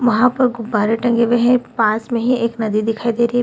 वहां पर गुब्बारा टंगे हुए हैं पास में ही एक नदी दिखाई दे रही।